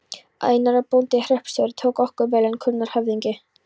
Einar, bóndi og hreppstjóri, tók okkur vel enda kunnur höfðingi.